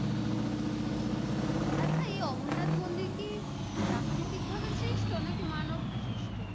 আচ্ছা এই অমরনাথ মন্দির কি প্রাকৃতিক ভাবে সৃষ্ট নাকি মানব সৃষ্ট?